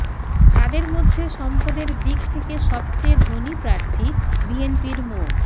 তাঁদের মধ্যে সম্পদের দিক থেকে সবচেয়ে ধনী প্রার্থী বিএনপির মো